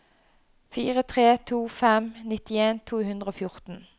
fire tre to fem nittien to hundre og fjorten